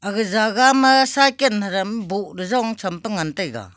aga jagah ma cycan haram bohley jong champa ngan taiga.